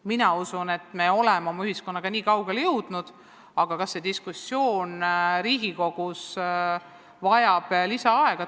Mina usun, et oleme oma ühiskonnaga jõudnud niikaugele, aga eks ole näha, kas see diskussioon vajab Riigikogus lisaaega.